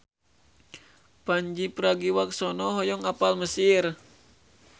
Pandji Pragiwaksono hoyong apal Mesir